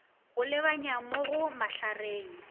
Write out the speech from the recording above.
go lebanya mo go mahlareng